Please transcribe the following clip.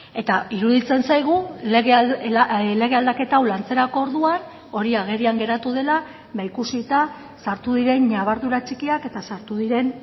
eta iruditzen zaigu lege aldaketa hau lantzerako orduan hori agerian geratu dela ikusita sartu diren ñabardura txikiak eta sartu diren